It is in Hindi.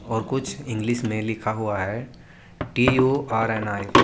और कुछ इंग्लिश में लिखा हुआ है T U R N I.